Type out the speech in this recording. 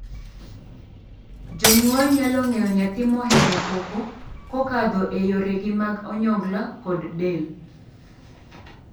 Jonyuol nyalo ng'eyo nyathi mohero koko kokadho e yorege mag onyongla kod del.